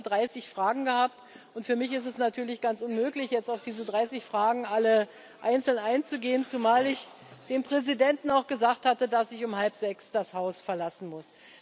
Wir haben jetzt über 30 Fragen gehabt, und für mich ist es natürlich ganz unmöglich, jetzt auf diese 30 Fragen alle einzeln einzugehen, zumal ich dem Präsidenten auch gesagt hatte, dass ich um halb sechs das Haus verlassen muss.